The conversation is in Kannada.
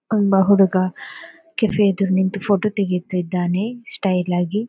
ಒಬ್ಬ ಹುಡುಗ ಕೆಫೆ ಎದುರು ನಿಂತು ಫೊಟೊ ತೆಗೀತಿದ್ದಾನೆ ಸ್ಟೈಲ್ ಆಗಿ.